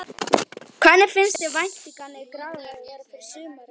Hvernig finnst þér væntingarnar í Grafarvogi vera fyrir sumarið?